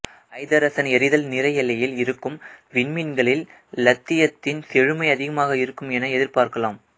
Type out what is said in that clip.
ஐதரசன் எரிதல் நிறை எல்லையில் இருக்கும் விண்மீன்களில் இலித்தியத்தின் செழுமை அதிகமாக இருக்கும் என எதிர்பார்க்கலாம்